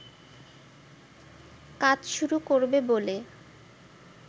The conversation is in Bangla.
কাজ শুরু করবে বলে